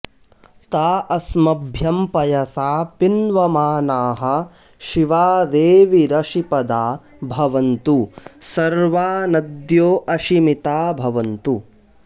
ता अस्मभ्यं पयसा पिन्वमानाः शिवा देवीरशिपदा भवन्तु सर्वा नद्यो अशिमिदा भवन्तु